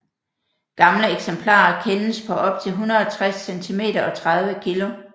Gamle eksemplarer kendes på op til 160 cm og 30 kg